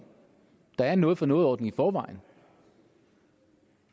der er en noget for noget ordning i forvejen